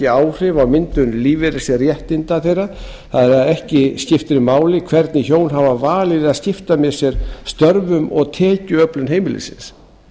áhrif á myndun lífeyrisréttinda þeirra það er að ekki skiptir máli hvernig hjón hafa valið að skipta með sér störfum og tekjuöflun heimilisins